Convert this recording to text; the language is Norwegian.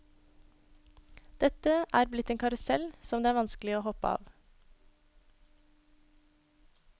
Dette er blitt en karusell som det er vanskelig å hoppe av.